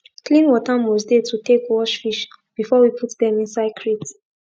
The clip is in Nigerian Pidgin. clean water must dey to take wash fish before we put dem inside crate